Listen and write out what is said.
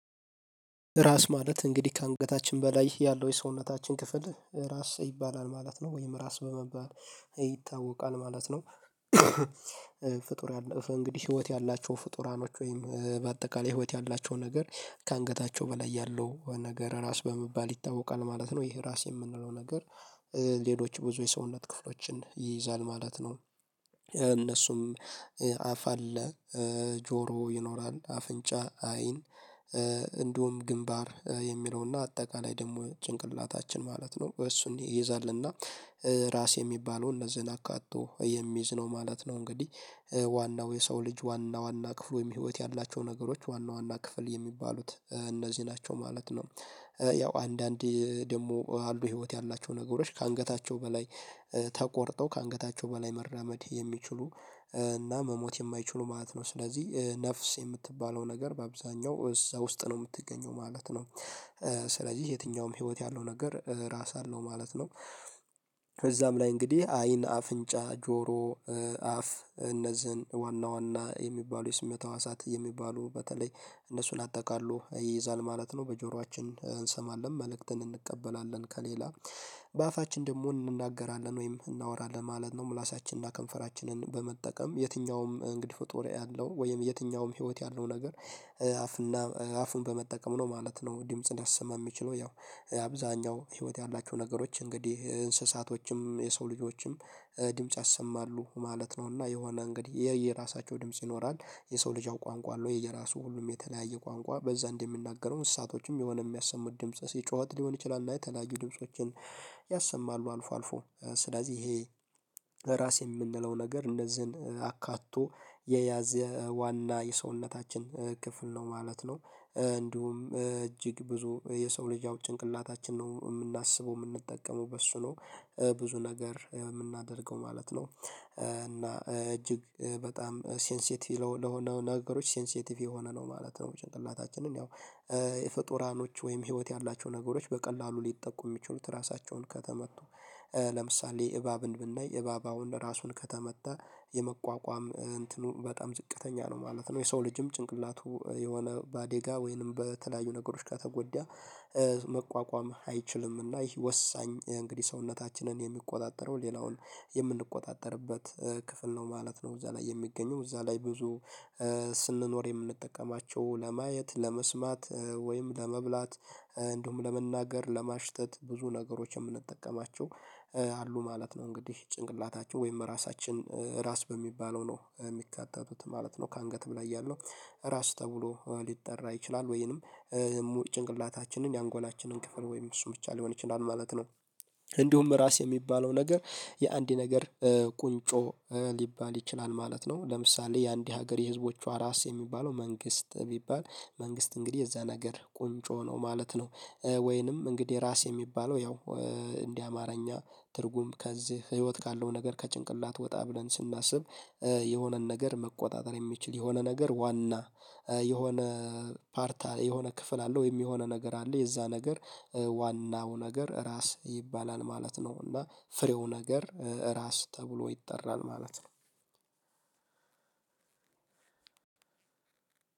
ራስ ማለት እንግዲህ ከአንገታችን በላይ ያለው የሰውነታችን ክፍል ራስ ይባላል ማለት ነው ወይም ራስ በመባል ይታወቃል ማለት ነው። ፍጡርራኖዎች እንግዲህ ህይወት ያላቸው ፍጡራኖች ወይም በአጠቃላይ ህይወት ያላቸው ነገር ከአንገታቸው በላይ ያለው ነገር ራስ በመባል ይታወቃል ማለት ነው። ይሄ ራስ የምንለው ነገር ሌሎች ብዙ የሰውነት ክፍሎችን ይይዛል ማለት ነው። እነሱም አፍ አለ ጆሮ ይኖራል አፍንጫ አይን እንዲሁም ግንባር የሚለውና አጠቃላይ ደግሞ ጭንቅላታችን ማለት ነው እሱን ይይዛልና ራስ የሚባለውን እነዚህን አካቶ የሚይዝ ነው ማለት ነው። እንግዲህ ዋናው የሰው ልጅ ዋና ዋና ክፍል ወይም ህይወት ያላቸው ነገሮች ዋና ዋና ክፍል የሚባሉት እነዚህ ናቸው ማለት ነው። ያው አንዳንድ ደሞ ህይወት ያላቸው ነገሮች ከአንገታቸው በላይ ተቆርጠው ከአንገታቸው በላይ መራመድ የሚችሉ እና መሞት የማይችሉ ማለት ነው ስለዚህ ነፍስ የምትባለው ነገር በአብዛኛው እዛ ውስጥ ነው የምትገኘው ማለት ነው። ስለዚህ የትኛውም ህይወት ያለው ነገር ራስ አለው ማለት ነው። ከዛም ላይ እንግዲህ አይን አፍንጫ ጆሮ አፍ እነዚህን ዋና ዋና የሚባሉ የስሜት ሀዋሳት የሚባሉ በተለይ እነሱን አጠቃሎ ይይዛል ማለት ነው። በጆሯችን እንሰማለን መልእክትን እንቀበላለን። በአፋችን ደግሞ እንናገራለን ወይም እናወራለን ማለት ነው። ምላሳችንና ከንፈራችንን በመጠቀም የትኛውም እንግዲህ ፍጡር ያለው ወይም የትኛውም ህይወት ያለው ነገር አፍና አፉን በመጠቀም ነው ማለት ነው። ድምጽ ሊያሰማ የሚችለው ያው አብዛኛው ህይወት ያላችሁ ነገሮች እንግዲህ እንስሳቶችም የሰው ልጆችም ድምጽ ያሰማሉ ማለት ነው። እና የሆነ እንግዲህ የየራሳቸው ድምጽ ይኖራል የሰው ልጅ ቋንቋ የየራሱ ሁሉም የተለያየ ቋንቋ በዛ እንደሚናገረው እሳቶችም የሆነ የሚያሰሙት ድምጽ ጩሀት ሊሆን ይችላል። እና የተለያዩ ድምፆችን ያሰማሉ አልፎ አልፎ ስለዚህ ይሄ። ራስ የምንለው ነገር እንደዚህን አካቶ የያዘ ዋና የሰውነታችን ክፍል ነው ማለት ነው። እንዲሁም እጅግ ብዙ የሰው ልጅ ያው ጭንቅላታችን ነው የምናስበው የምንጠቀመው በሱ ነው። ብዙ ነገር የምናደርገው ማለት ነው እና እጅግ በጣም ሴንሲቲቭ ለሆነ ነገሮች ሴንሲቲቭ የሆነ ነው ማለት ነው። ጭንቅላታችንን ያው የፍጡራኖች ወይም ህይወት ያላቸው ነገሮች በቀላሉ ሊጠቁ የሚችሉት ራሳቸውን ከተመቱ ለምሳሌ እባብን ብናይ እባባውን ራሱን ከተመታ የመቋቋም እንትኑን በጣም ዝቅተኛ ነው ማለት ነው። የሰው ልጅም ጭንቅላቱ የሆነ ባአደጋ ወይንም በተለያዩ ነገሮች ከተጎዳ መቋቋም አይችልምና ይሄ ወሳኝ እንግዲህ ሰውነታችንን የሚቆጣጠረው ሌላውን የምንቆጣጠርበት ክፍል ነው ማለት ነው። እዛ ላይ የሚገኘው እዛ ላይ ብዙ ስንኖር የምንጠቀማቸው ለማየት ለመስማት ወይም ለመብላት እንደውም ለመናገር ለማሽተት ብዙ ነገሮች የምንጠቀማቸው አሉ ማለት ነው። እንግዲህ ጭንቅላታቸው ወይም ራሳችን ራስ በሚባለው ነው የሚካተቱት ማለት ነው። ከአንገት በላይ ያለው ራስ ተብሎ ሊጠራ ይችላል ወይንም ጭንቅላታችንን የአንጎላችንን ክፍል ወይም እሱ ብቻ ሊሆን ይችላል ማለት ነው። እንዲሁም ራስ የሚባለው ነገር የአንድ ነገር ቁንጮ ሊባል ይችላል ማለት ነው። ለምሳሌ የአንድ ሀገር የህዝቦቹ ራስ የሚባለው መንግስት ቢባል መንግስት እንግዲህ የዛ ነገር ቁንጮ ነው ማለት ነው። ወይንም እንግዲህ ራስ የሚባለው ያው እንዲህ አማርኛ ትርጉም ከዚህ ህይወት ካለው ነገር ከጭንቅላት ወጣ ብለን ስናስብ። የሆነን ነገር መቆጣጠር የሚችል የሆነ ነገር ዋና የሆነ ፓርታ የሆነ ክፍል አለው የሚሆነ ነገር አለ የዛ ነገር ዋናው ነገር ራስ ይባላል ማለት ነው። እና ፍሬው ነገር ራስ ተብሎ ይጠራል ማለት ነው።